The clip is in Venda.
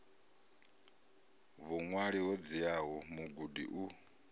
vhuṅwali ho dziaho mugudi u